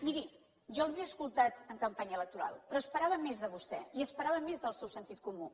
miri jo l’havia escoltat en campanya electoral però esperava més de vostè i esperava més del seu sentit comú